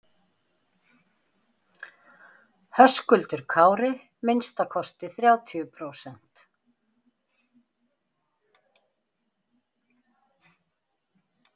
Höskuldur Kári: Minnsta kosti þrjátíu prósent?